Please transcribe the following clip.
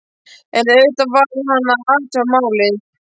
En auðvitað varð hann að athuga málið.